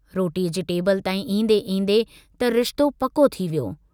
रोटीअ जी टेबिल ताईं ईंदे-ईंदे त रिश्तो पको थी वियो।